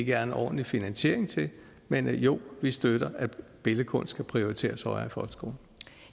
er en ordentlig finansiering til men jo vi støtter at billedkunst skal prioriteres højere